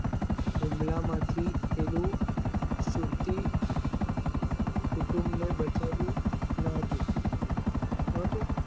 ઉમ્બલા માં થી એવું સુરતી કુટુંબ ને બચ્યું હતું નહતું નોતું